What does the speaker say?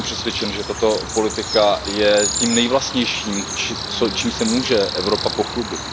Já jsem přesvědčen, že tato politika je tím nejvlastnějším, čím se může Evropa pochlubit.